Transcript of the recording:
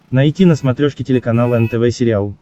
найти на смотрешке телеканал нтв сериал